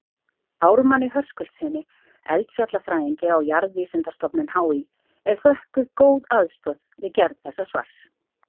Ármanni Höskuldssyni eldfjallafræðingi á Jarðvísindastofnun HÍ er þökkuð góð aðstoð við gerð þessa svars.